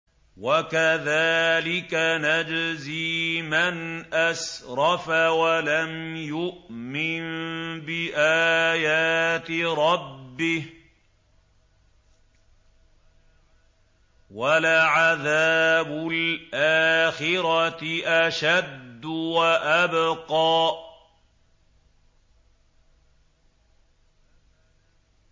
وَكَذَٰلِكَ نَجْزِي مَنْ أَسْرَفَ وَلَمْ يُؤْمِن بِآيَاتِ رَبِّهِ ۚ وَلَعَذَابُ الْآخِرَةِ أَشَدُّ وَأَبْقَىٰ